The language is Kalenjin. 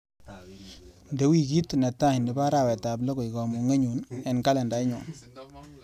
Inde wikit netai nebo arawetap loo koek kamung'enyu eng kalendainyu.